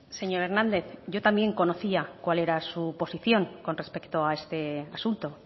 señor hernández yo también conocía cuál era su posición con respecto a este asunto